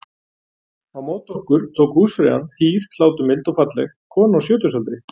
Á móti okkur tók húsfreyjan- hýr, hláturmild og falleg kona á sjötugsaldri.